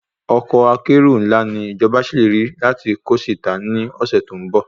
Ọkọ́ akérò ńlá ni ìjọba ṣèlérí láti kó sí ìta ní ọ̀sẹ̀ tó ń bọ̀